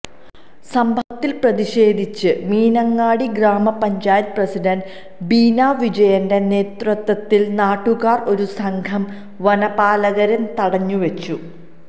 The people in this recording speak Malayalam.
സംഭവത്തില് പ്രതിഷേധിച്ച് മീനങ്ങാടി ഗ്രാമ പഞ്ചായത്ത് പ്രസിഡന്റ് ബീനാ വിജയന്റെ നേതൃത്വത്തില് നാട്ടുകാര് ഒരു സംഘം വനപാലകരെ തടഞ്ഞുവെച്ചു